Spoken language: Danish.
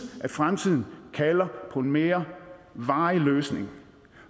at fremtiden kalder på en mere varig løsning